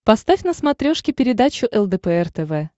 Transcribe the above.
поставь на смотрешке передачу лдпр тв